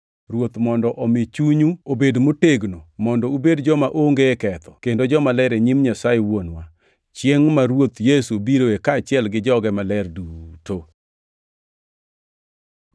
Ruoth mondo omi chunyu obed motegno mondo ubed joma onge ketho kendo jomaler e nyim Nyasaye Wuonwa, chiengʼ ma Ruoth Yesu biroe kaachiel gi joge maler duto.